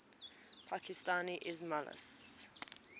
pakistani ismailis